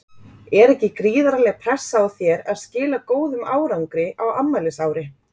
Er ekki gríðarleg pressa á þér að skila góðum árangri á afmælisári?